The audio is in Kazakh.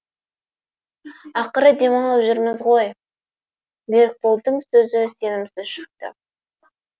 ақыры демалып жүрміз ғой берікболдың сөзі сенімсіз шықты